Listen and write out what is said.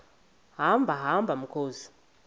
hamba hamba mkhozi